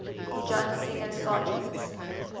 john singer sargent